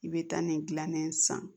I bɛ taa nin gilan ne san